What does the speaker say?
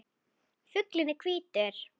Fuglinn er hvítur.